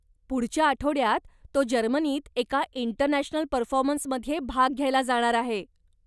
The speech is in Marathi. पुढच्या आठवड्यात तो जर्मनीत एका इंटरनॅशनल परफॉर्मन्समध्ये भाग घ्यायला जाणार आहे.